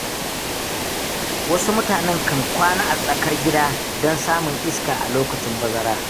Wasu mutanen kan kwana a tsakar gida don samun iska a lokacin bazara.